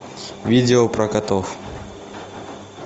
видео про котов